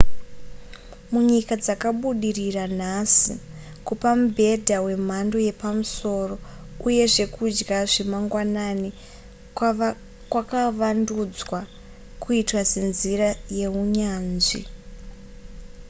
munyika dzakabudirira nhasi kupa mubhedha wemhando yepamusoro uye zvekudya zvemangwanani kwakavandudzwa kuitwa senzira yeunyanzvi